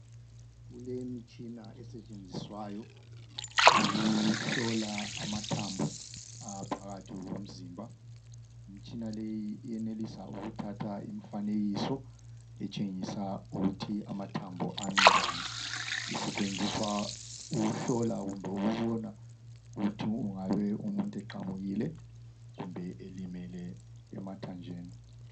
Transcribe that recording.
Kulemitshina esetshenziswayo ukuhlola amathambo aphakathi komzimba imtshina leyi iyenelisa ukuthatha imifanekiso etshengisa ukuthi amathambo ami njani isetshenziswa ukujlola kumbe ukubona ukuthi ingabe umuntu eqamukile kumbe elimele emathanjeni